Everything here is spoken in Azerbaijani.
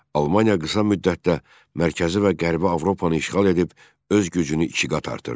Almaniya qısa müddətdə Mərkəzi və Qərbi Avropanı işğal edib öz gücünü iki qat artırdı.